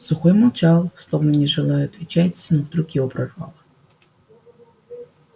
сухой молчал словно не желая отвечать но вдруг его прорвало